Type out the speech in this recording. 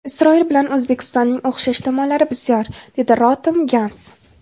Isroil bilan O‘zbekistonning o‘xshash tomonlari bisyor, dedi Rotem Gans.